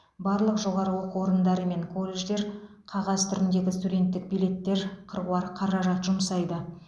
барлық жоғары оқу орындары мен колледждер қағаз түріндегі студенттік билеттер қыруар қаражат жұмсайды